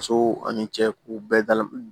Musow ani cɛw bɛɛ dal